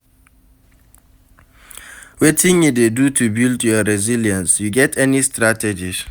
Wetin you dey do to build your resilience, you get any strategies?